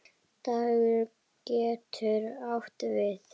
Dag getur átt við